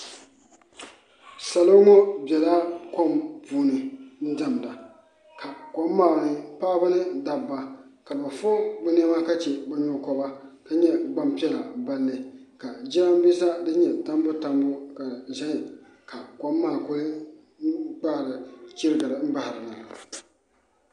Nibɛ na a be deɛm zie ba deɛnɛ na a deɛm ba mine a kaara a nibɛ mine a ire na sine te ba mine a zee a kaara bibile kɔŋ poɔ na a sine ba na ire poɔ.